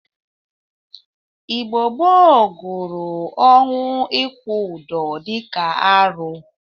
Igbo gboo guru ọnwụ ikwu ọdọ dịka arụ.